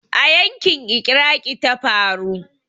A yanƙin Iraqi ta faru.